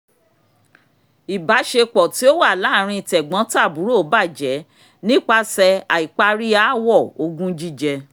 ìbáṣepọ̀ tí ó wà láàrin tẹ̀gbọ́n-tàbúrò bàjẹ́ nípasẹ̀ àìparí ááwọ̀ ogún jíjẹ